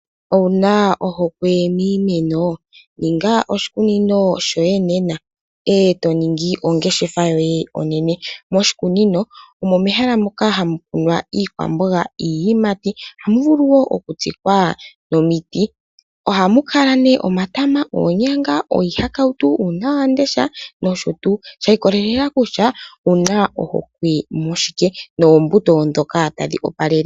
Owuna ohokwe miimeno? Ninga oshikunino shoye nena, eto ningi ongeshefa yoye onene. Moshikunino omo mehala moka hamu kunwa iikwamboga, iiyimati ohamu vulu wo okutsikwa omiti. Ohamu kala neh omatama, oonyanga, iihakautu, uunawamundesha nosho tuu, shiikololela kutya owuna ohokwe mushike, noombuto dhoka tadhi opalele.